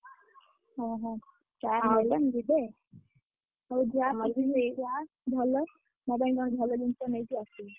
ଓହୋ ହଉ ଯାଆ ବୁଲିକି ଆ! ଭଲ ଯାଇଁ କଣ ଭଲ ଜିନିଷ ନେଇକି ଆସିବୁ!